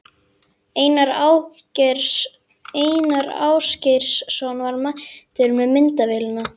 Einar Ásgeirsson var mættur með myndavélina.